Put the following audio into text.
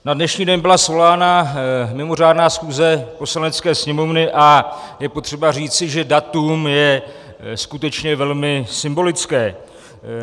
Na dnešní den byla svolána mimořádná schůze Poslanecké sněmovny a je potřeba říci, že datum je skutečně velmi symbolické.